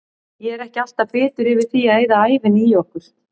Ég er ekki alltaf bitur yfir því að eyða ævinni í okkur.